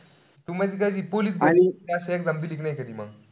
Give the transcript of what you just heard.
अशा exam दिलेलाय का नाई मंग?